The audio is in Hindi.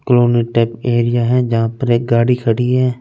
एरिया है जहा पर एक गाड़ी खड़ी है।